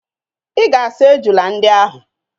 Ị ga-asa ejula ndị ahụ!